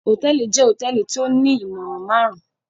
Hotẹẹli jẹ hotẹẹli ti o ni imọran marun-un.